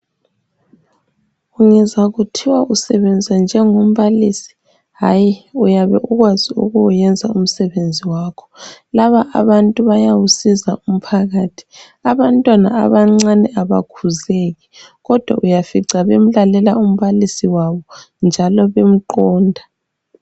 Ungezwa kuthiwa usebenza njengo mbalisi hayi uyabe ukwazi ukuwenza umsebenzi wakho laba abantu bayawusiza umphakathi abantwana abancane abakhuzeki kodwa uyafica bemlalela umbalisi wabo njalo bemqonda.